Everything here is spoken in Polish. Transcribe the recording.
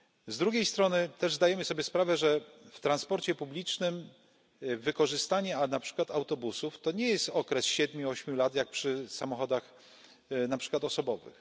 Z drugiej strony też zdajemy sobie sprawę, że w transporcie publicznym wykorzystanie na przykład autobusów, to nie jest okres siedmiu, ośmiu lat, jak przy samochodach, na przykład osobowych.